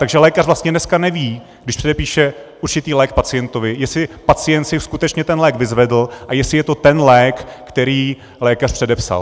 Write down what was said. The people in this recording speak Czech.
Takže lékař vlastně dneska neví, když předepíše určitý lék pacientovi, jestli pacient si skutečně ten lék vyzvedl a jestli je to ten lék, který lékař předepsal.